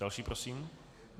Další prosím.